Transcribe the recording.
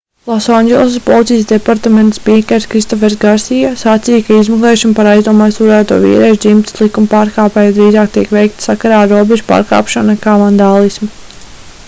losandželosas policijas departamenta spīkers kristofers garsija sacīja ka izmeklēšana par aizdomās turēto vīriešu dzimtes likumpārkāpēju drīzāk tiek veikta sakarā ar robežu pārkāpšanu nekā vandālismu